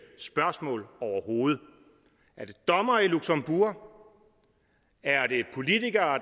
spørgsmål overhovedet er det dommere i luxembourg er det politikere